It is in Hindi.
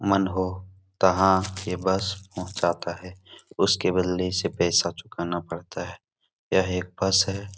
मन हो तहाँ ये बस पहुंचाता है। उसके बदले इसे पैसा चुकाना पड़ता है। यह एक बस है।